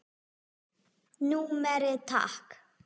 Númerið takk?